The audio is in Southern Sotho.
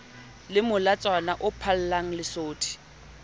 le molatswana o phallang lesodi